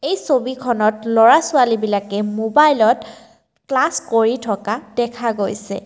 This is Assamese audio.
এই ছবিখনত ল'ৰা ছোৱালী বিলাকে মোবাইলত ক্লাছ কৰি থকা দেখা গৈছে।